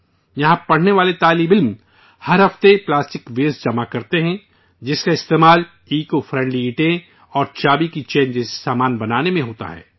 یہاں پڑھنے والے طلباء ہر ہفتے پلاسٹک ویسٹ جمع کرتے ہیں، جس کا استعمال ایکو فرینڈلی اینٹیں اور چابی کی چین جیسے سامان بنانے میں ہوتا ہے